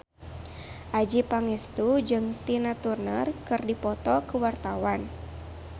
Adjie Pangestu jeung Tina Turner keur dipoto ku wartawan